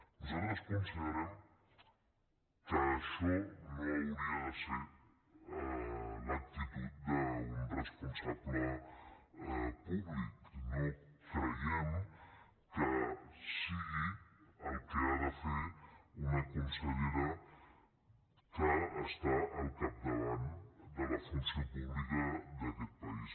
nosaltres considerem que això no hauria de ser l’actitud d’un responsable públic no creiem que sigui el que ha de fer una consellera que està al capdavant de la funció pública d’aquest país